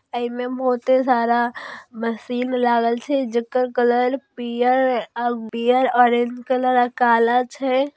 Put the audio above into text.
एमे बहुते सारा मशीन लागल छै जकर कलर पीयरपीयर और ऑरेंज कलर काला छै।